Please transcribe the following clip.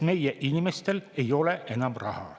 Meie inimestel ei ole enam raha.